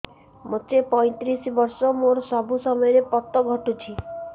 ମୋତେ ପଇଂତିରିଶ ବର୍ଷ ମୋର ସବୁ ସମୟରେ ପତ ଘଟୁଛି